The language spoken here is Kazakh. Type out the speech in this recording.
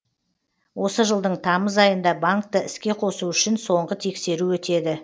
осы жылдың тамыз айында банкты іске қосу үшін соңғы тексеру өтеді